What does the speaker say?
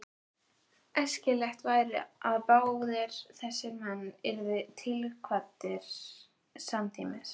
Æskilegast væri, að báðir þessir menn yrðu tilkvaddir samtímis.